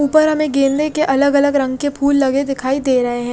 उपर हमे गेंदे के अलग अलग रंग के फुल लगे दिखाई दे रहे है।